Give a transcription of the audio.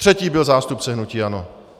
Třetí byl zástupce hnutí ANO.